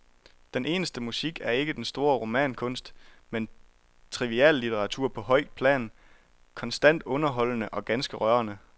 Den eneste musik er ikke den store romankunst, men triviallitteratur på højt plan, konstant underholdende og ganske rørende.